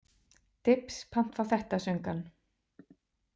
Dibs, pant fá þetta, söng hann.